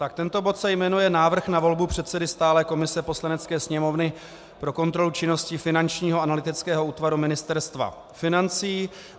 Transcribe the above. Tak tento bod se jmenuje Návrh na volbu předsedy stálé komise Poslanecké sněmovny pro kontrolu činnosti Finančního analytického útvaru Ministerstva financí.